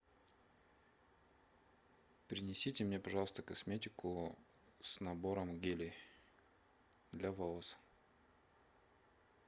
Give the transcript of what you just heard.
принесите мне пожалуйста косметику с набором гелей для волос